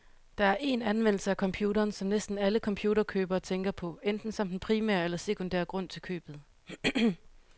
Der er én anvendelse af computeren, som næsten alle computerkøbere tænker på, enten som den primære eller sekundære grund til købet.